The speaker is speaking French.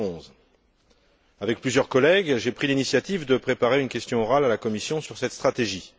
2011. Avec plusieurs collègues, j'ai pris l'initiative de préparer une question orale à la Commission sur cette stratégie.